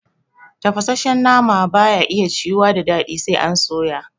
Tafasashshen nama ba ya ciyuwa da daɗi sai an soya